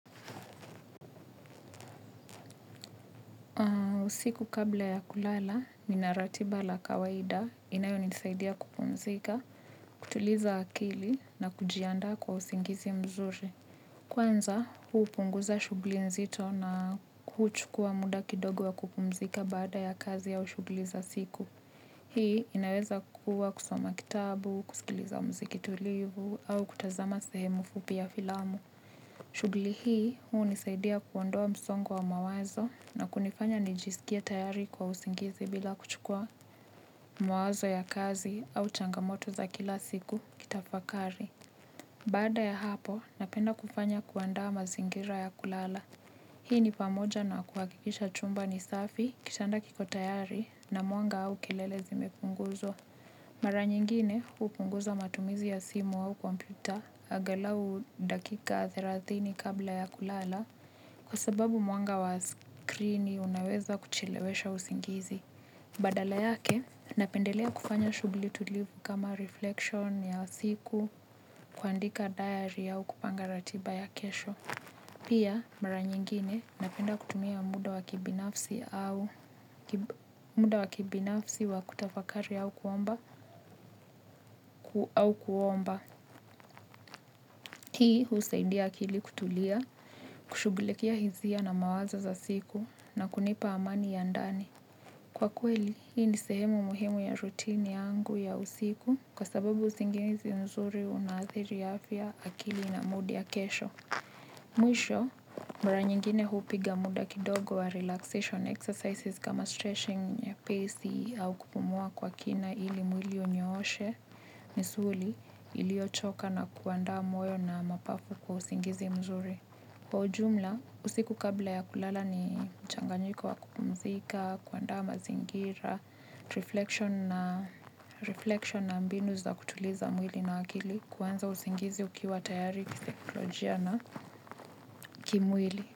Siku kabla ya kulala, ninaratibala kawaida inayo nisaidia kupumzika, kutuliza akili na kujianda kwa usingizi mzuri. Kwanza huu punguza shughuli nzito na kuchukua muda kidogo wa kupumzika baada ya kazi a ushughuli za siku. Hii inaweza kuwa kusoma kitabu, kusikiliza muziki tulivu au kutazama sehemu fupi ya filamu. Shughuli hii huu nisaidia kuondoa msongowa wa mawazo na kunifanya nijisikie tayari kwa usingizi bila kuchukua mawazo ya kazi au changamoto za kila siku kitafakari. Baada ya hapo napenda kufanya kuandaa mazingira ya kulala. Hii ni pamoja na kuhakikisha chumba ni safi kitanda kiko tayari na mwanga au kelele zimepunguzwa. Mara nyingine hupunguza matumizi ya simu au kompyuta angalau dakika thelathini kabla ya kulala kwa sababu mwanga wa screeni unaweza kuchelewesha usingizi. Badala yake napendelea kufanya shughuli tulivu kama reflection ya siku kuandika diary au kupanga ratiba ya kesho. Pia mara nyingine napenda kutumia muda wa kibinafsi wa kutafakari au kuomba. Hii husaidia akili kutulia, kushughulikia hisia na mawazo za siku na kunipa amani ya ndani. Kwa kweli, hii ni sehemu muhimu ya rutini yangu ya usiku kwa sababu usingizi nzuri unaadhiri afya akili na mood ya kesho. Mwisho, mara nyingine hupiga muda kidogo wa relaxation exercises kama stretching ye pesi au kupumua kwa kina ili mwili unyooshe misuli ili yochoka na kuandaa moyo na mapafu kwa usingizi mzuri. Kwa ujumla, usiku kabla ya kulala ni mchanganyiko wa kupumzika, kuandama zingira, reflection na mbinu za kutuliza mwili na akili, kuanza usingizi ukiwa tayari kisikolojia na kimwili.